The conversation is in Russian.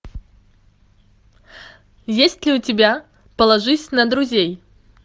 есть ли у тебя положись на друзей